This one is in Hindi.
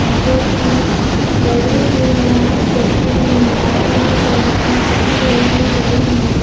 जो की बड़ी भी है और छोटी भी है और बहुत सारी मछलियां कटी हुई भी पड़ी है।